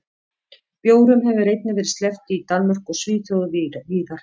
Bjórum hefur einnig verið sleppt í Danmörku og Svíþjóð og víðar.